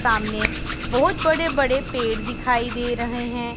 सामने बहुत बड़े बड़े पेड़ दिखाई दे रहे है।